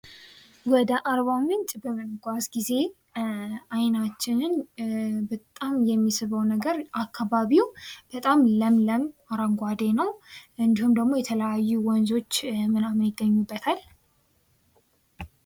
ወደ አርባ ምንጭ በምንጓዝ ጊዜ አይናችንን በጣም የሚስበው ነገር አካባቢው በጣም ለምለም ፣አረንጓዴ ነው። እንዲሁም ደግሞ የተለያዩ ወንዞች ምናምን ይገኙበታል።